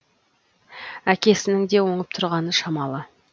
әкесінің де оңып тұрғаны шамалы